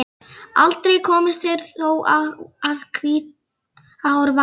Aldrei komust þeir þó að Hvítárvatni.